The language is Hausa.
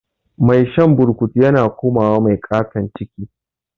Mai shan burkutu yana komawa mai katan ciki